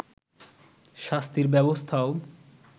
শাস্তির ব্যবস্থাও